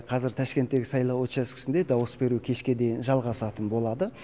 қазір ташкенттегі сайлау учаскесінде дауыс беру кешке дейін жалғасатын болады